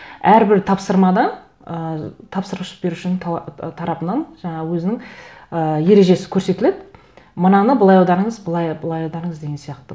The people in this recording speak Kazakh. әрбір тапсырмада ыыы тапсырыс берушінің тарапынан жаңағы өзінің ыыы ережесі көрсетіледі мынаны былай аударыңыз былай былай аударыңыз деген сияқты